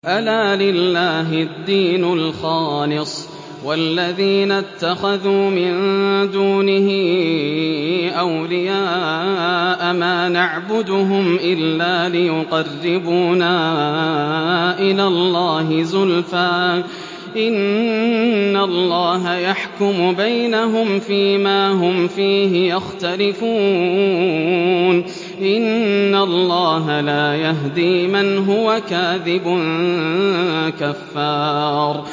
أَلَا لِلَّهِ الدِّينُ الْخَالِصُ ۚ وَالَّذِينَ اتَّخَذُوا مِن دُونِهِ أَوْلِيَاءَ مَا نَعْبُدُهُمْ إِلَّا لِيُقَرِّبُونَا إِلَى اللَّهِ زُلْفَىٰ إِنَّ اللَّهَ يَحْكُمُ بَيْنَهُمْ فِي مَا هُمْ فِيهِ يَخْتَلِفُونَ ۗ إِنَّ اللَّهَ لَا يَهْدِي مَنْ هُوَ كَاذِبٌ كَفَّارٌ